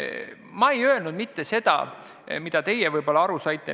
Ma ei öelnud mitte seda, mida teie aru saite.